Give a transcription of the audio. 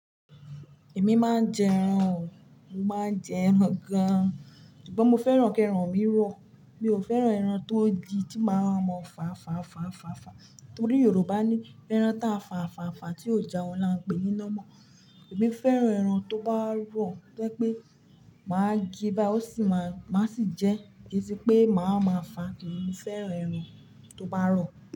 Èmi máa ń jẹ ẹran o, mo máa ń jẹ ẹran gan-an, ṣùgbọ́n mo fẹ́ràn kí ẹran mi rọ̀. Mi ò fẹ́ràn ẹran tó yí tí máa wa mọ fàfàfàfàfà. Nítorí Yorùbá ní "ẹran táa fàfàfàfà tí ò já wọn la ń pè yín lọ́mọ". Èmi fẹ́ràn ẹran tó bá rọ̀, rẹ́ pé máa gbé bá, ó sì má, má sì jẹ́, kì í sí pé màá máa fà. Kíni mí fẹ́ràn ẹran tó bá rọ̀.